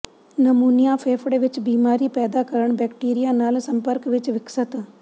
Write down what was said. pneumonia ਫੇਫੜੇ ਵਿੱਚ ਬਿਮਾਰੀ ਪੈਦਾ ਕਰਨ ਬੈਕਟੀਰੀਆ ਨਾਲ ਸੰਪਰਕ ਵਿੱਚ ਵਿਕਸਤ